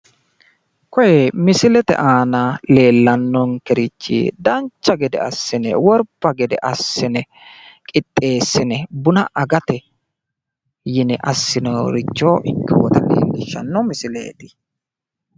Koye misilete aana leellannonkerichi dancha gede assine worbba gede assine qixxessine buna agate yine assinoyita ikkinota leellishshanno misileeti.